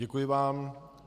Děkuji vám.